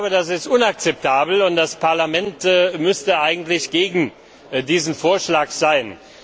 Das ist inakzeptabel und das Parlament müsste eigentlich gegen diesen Vorschlag sein.